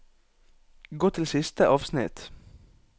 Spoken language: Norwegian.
Gå til siste avsnitt